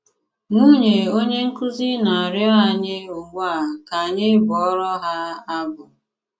Nwunye onye nkúzí ná-àrịọ ányị́ ugbu a ká ányị́ bụọrọ ha abụ.